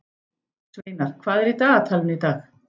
Sveinar, hvað er í dagatalinu í dag?